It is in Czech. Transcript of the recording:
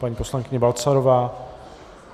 Paní poslankyně Balcarová.